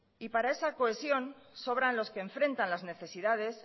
y para esa cohesión sobran los que enfrentan las necesidades